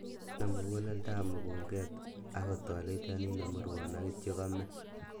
Nune mukuleldab mukunket ak kotolelionit nemurwon ak kityo komee.